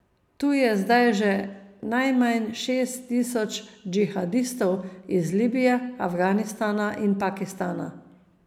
Tu je zdaj že najmanj šest tisoč džihadistov iz Libije, Afganistana in Pakistana.